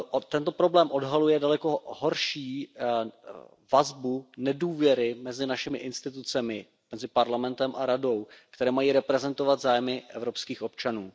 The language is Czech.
Tento problém odhaluje daleko horší vazbu nedůvěry mezi našimi institucemi, mezi Parlamentem a Radou, které mají reprezentovat zájmy evropských občanů.